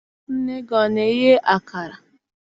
Nne gị ana-eye akara?